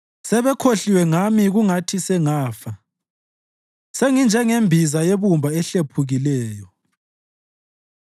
Sebekhohliwe ngami kungathi sengafa; senginjengembiza yebumba ehlephukileyo.